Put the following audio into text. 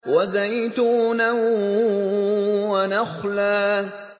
وَزَيْتُونًا وَنَخْلًا